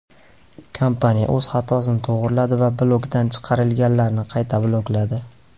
Kompaniya o‘z xatosini to‘g‘riladi va blokdan chiqarilganlarni qayta blokladi.